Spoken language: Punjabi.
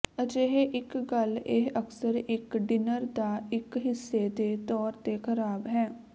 ਅਜਿਹੇ ਇੱਕ ਗੱਲ ਇਹ ਅਕਸਰ ਇੱਕ ਡਿਨਰ ਦਾ ਇੱਕ ਹਿੱਸੇ ਦੇ ਤੌਰ ਤੇ ਖਰਾਬ ਹੈ